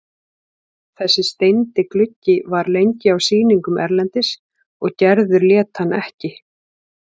Þessi steindi gluggi var lengi á sýningum erlendis og Gerður lét hann ekki.